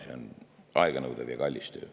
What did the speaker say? See on aeganõudev ja kallis töö.